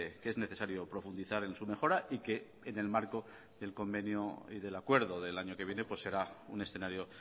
que es necesario profundizar en su mejora y que en el marco del convenio y del acuerdo del año que viene pues será un escenario